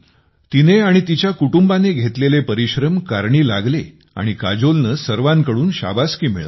तिने आणि तिच्या कुटुंबाने घेतलेले परिश्रम कारणी लागले आणि काजोलनं सर्वांकडून शाबासकी मिळवली